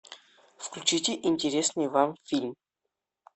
включите интересный вам фильм